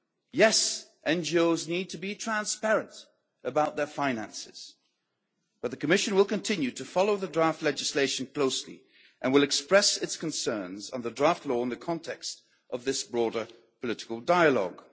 Yes, NGOs need to be transparent about their finances, but the Commission will continue to follow the draft legislation closely and will express its concerns on the draft law in the context of this broader political dialogue.